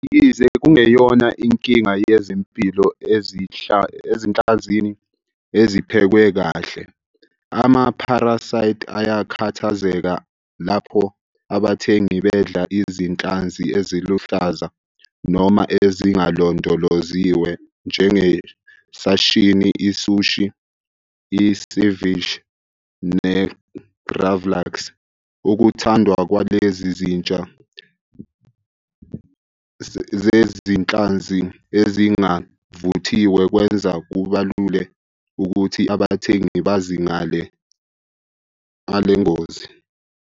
Yize kungeyona inkinga yezempilo ezinhlanzini eziphekwe kahle, ama-parasites ayakhathazeka lapho abathengi bedla izinhlanzi eziluhlaza noma ezingalondoloziwe njenge-sashimi, i-sushi, i-ceviche ne-gravlax. Ukuthandwa kwalezi zitsha zezinhlanzi ezingavuthiwe kwenza kubalule ukuthi abathengi bazi ngale ngozi.